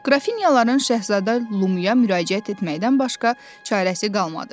Qrafinyaların Şəhzadə Lumuya müraciət etməkdən başqa çarəsi qalmadı.